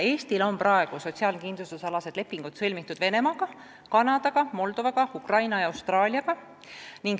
Eestil on praegu sotsiaalkindlustusalased lepingud sõlmitud Venemaaga, Kanadaga, Moldovaga, Ukrainaga ja Austraaliaga.